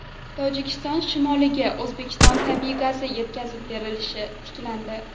Tojikiston shimoliga O‘zbekiston tabiiy gazi yetkazib berilishi tiklandi.